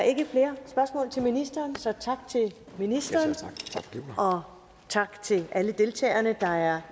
er ikke flere spørgsmål til ministeren så tak til ministeren og tak til alle deltagerne der er